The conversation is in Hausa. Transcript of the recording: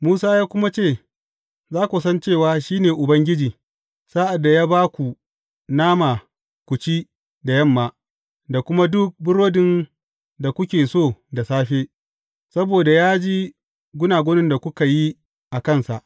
Musa ya kuma ce, Za ku san cewa shi ne Ubangiji, sa’ad da ya ba ku nama ku ci da yamma, da kuma duk burodin da kuke so da safe, saboda ya ji gunagunin da kuka yi a kansa.